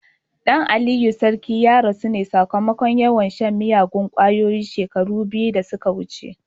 Dan Aliyu sarki ya rasu ne sakamakon yawan shan miyagun kwayoyi shekaru biyu da suka wuce.